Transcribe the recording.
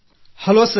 hello sir